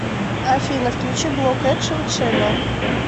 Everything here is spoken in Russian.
афина включи блок экшен ченнэл